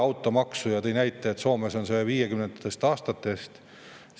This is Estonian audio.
Ta tõi näite, et Soomes on see 1950. aastatest.